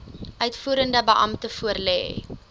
uitvoerende beampte voorlê